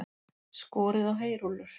Skorið á heyrúllur